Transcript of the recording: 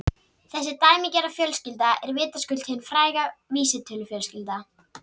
Þessi dæmigerða fjölskylda er vitaskuld hin fræga vísitölufjölskylda.